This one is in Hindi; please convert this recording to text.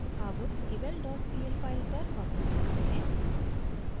अब eval dot pl फाइल पर वापस जाते हैं